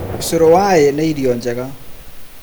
Ũcũrũ wa llll nĩ irio njega